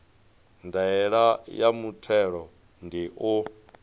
ndaela ya muthelo ndi u